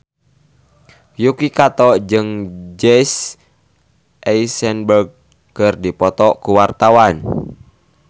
Yuki Kato jeung Jesse Eisenberg keur dipoto ku wartawan